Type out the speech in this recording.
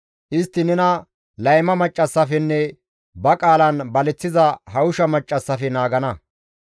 Istti nena layma maccassafenne ba qaalan baleththiza hawusha maccassafe naagana.